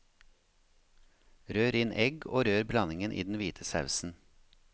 Rør inn egg, og rør blandingen i den hvite sausen.